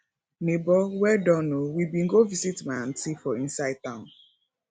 nebor well done o we bin go visit my aunty for inside town